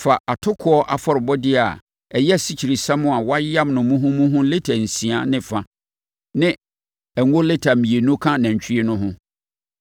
fa atokoɔ afɔrebɔdeɛ a ɛyɛ asikyiresiam a wɔayam no muhumuhu lita nsia ne fa ne ngo lita mmienu ka nantwie no ho